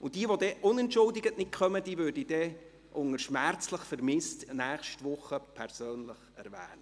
Jene, die unentschuldigt nicht kommen, würde ich dann nächste Woche unter dem Titel «schmerzlich vermisst» persönlich erwähnen.